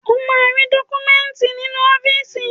O máa rí dọ́kúmẹ́ńtì nínú ọ́fíìsì.